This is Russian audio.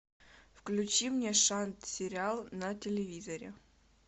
включи мне шант сериал на телевизоре